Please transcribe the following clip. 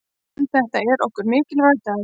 En þetta er okkur mikilvægur dagur.